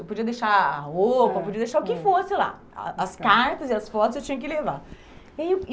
Eu podia deixar roupa, podia deixar o que fosse lá, a as cartas e fotos eu tinha que levar. E aí